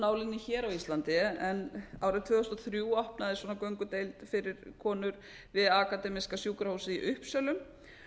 nálinni hér á íslandi en árið tvö þúsund og þrjú opnaðist svona göngudeild fyrir konur við akademíska sjúkrahúsið í uppsölum